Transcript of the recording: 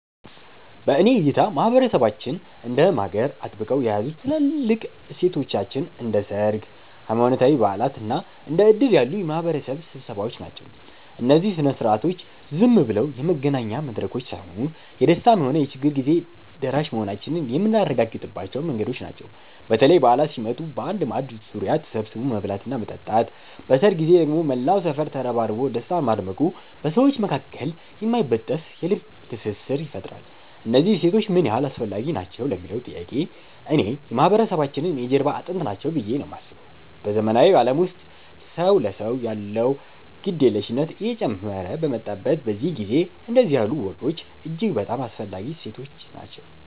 በእኔ እይታ ማህበረሰባችንን እንደ ማገር አጥብቀው የያዙት ትልልቆቹ እሴቶቻችን እንደ ሰርግ፣ ሃይማኖታዊ በዓላት እና እንደ ዕድር ያሉ የማህበረሰብ ስብሰባዎች ናቸው። እነዚህ ሥነ ሥርዓቶች ዝም ብለው የመገናኛ መድረኮች ሳይሆኑ፣ የደስታም ሆነ የችግር ጊዜ ደራሽ መሆናችንን የምናረጋግጥባቸው መንገዶች ናቸው። በተለይ በዓላት ሲመጡ በአንድ ማዕድ ዙሪያ ተሰብስቦ መብላትና መጠጣት፣ በሰርግ ጊዜ ደግሞ መላው ሰፈር ተረባርቦ ደስታን ማድመቁ በሰዎች መካከል የማይበጠስ የልብ ትስስር ይፈጥራል። እነዚህ እሴቶች ምን ያህል አስፈላጊ ናቸው ለሚለዉ ጥያቄ፣ እኔ የማህበረሰባችን የጀርባ አጥንት ናቸው ብዬ ነው የማስበው። በዘመናዊው ዓለም ውስጥ ሰው ለሰው ያለው ግድየለሽነት እየጨመረ በመጣበት በዚህ ጊዜ፣ እንዲህ ያሉ ወጎች እጅግ በጣም አስፈላጊ እሴቶች ናቸው።